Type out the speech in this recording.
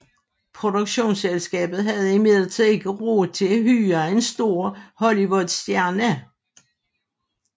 Produktionsselskabet havde imidlertid ikke råd til at hyre en stor Hollywoodstjerne